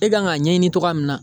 E kan k'a ɲɛɲini togoya min na